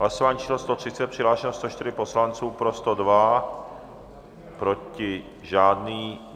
Hlasování číslo 130, přihlášeno 104 poslanců, pro 102, proti žádný.